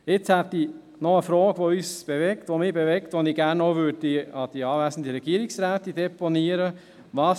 Jetzt habe ich noch eine Frage, die uns bewegt, die mich bewegt, und die ich gerne zuhanden der anwesenden Regierungsrätin deponieren möchte: